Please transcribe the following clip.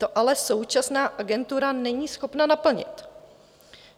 To ale současná Agentura není schopna naplnit.